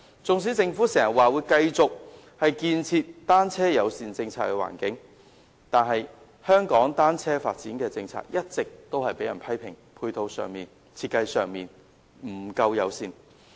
縱使政府時常說會繼續建設單車友善的環境，但香港單車發展的政策一直被人批評在配套及設計上均不夠友善。